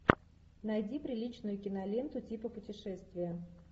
найди приличную киноленту типа путешествие